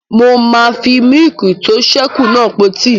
Mo máa fi mílìkì tó sẹ́ kù náà po tíì